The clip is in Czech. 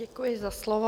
Děkuji za slovo.